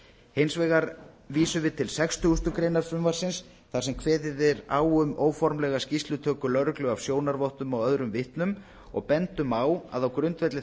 hins vegar vísum við til sextugasta greinar frumvarpsins þar sem kveðið er á um óformlega skýrslutöku lögreglu af sjónarvottum og öðrum vitnum og bendum á að á grundvelli